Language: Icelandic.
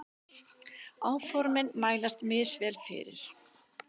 Áformin mælast misvel fyrir.